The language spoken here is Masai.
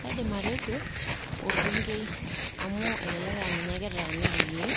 Kaidim atejo orbungei amu elelek aa ninye kitaaniki iyiook